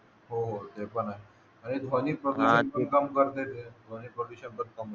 हो हो ते पण आहे आणि ध्वनी प्रदूषण पण काम करता येते ध्वनी प्रदूषण पण थांबवावं